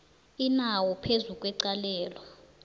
inawo phezu kwecalelo